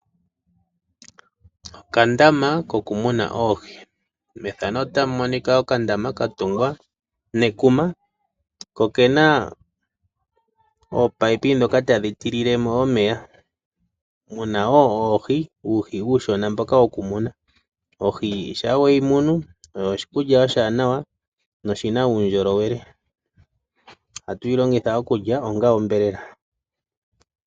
Okandama kokumuna oohi. Okandama okatungwa nekuma ko oke na oopaipi ndhoka tadhi tilile mo omeya. Omu na wo oohi, uuhi uushona mboka wokumuna. Ohi shampa weyi munu oyo oshikulya oshiwanawa noshi na uundjolowele. Ohatu yi longitha okulya onga onyama.